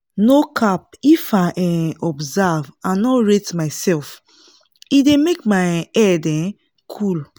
no cap if i um observe and nor rate myself e dey make my head um cool